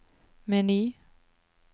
meny